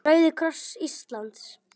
Rauði kross Íslands